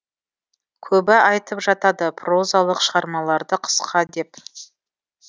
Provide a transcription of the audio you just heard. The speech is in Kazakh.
көбі айтып жатады прозалық шығармаларды қысқа деп